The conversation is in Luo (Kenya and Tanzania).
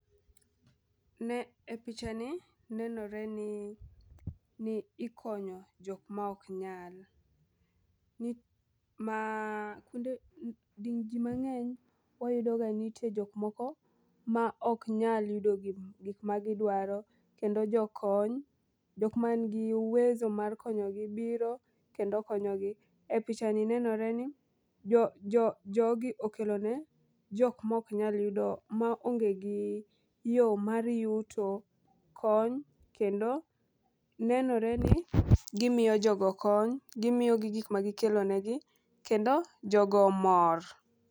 Ne e picha ni nenore ni ni ikonyo jok ma ok nyal ni ma jii mang'eny wayudo ga ni nitie jok moko ma ok nyal yudo gi gik ma gidwaro .Kendo jokony jok man gi uwezo mar konyogi biro kendo konyogi. E picha ni nenore ni jo jo jogi okelo ne jok mok nyal yudo ma onge gi yo mar yuto kony kendo nenore ni gimiyo jogo kony. Gimiyo gi gik ma gikelo negi kendo jogo omor .